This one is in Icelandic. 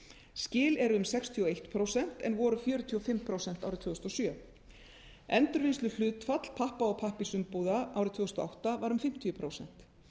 skil er um sextíu og eitt prósent en voru fjörutíu og fimm prósent árið tvö þúsund og sjö endurvinnsluhlutfall pappa og pappírsumbúða árið tvö þúsund og átta var um fimmtíu prósent